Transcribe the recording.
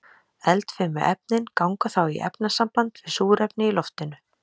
Eldfimu efnin ganga þá í efnasamband við súrefni í loftinu.